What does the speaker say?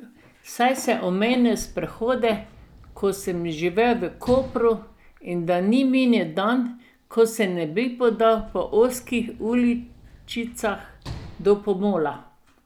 Saj sem omenil sprehode, ko sem živel v Kopru, in da ni minil dan, ko se ne bi podal po ozkih uličicah do pomola.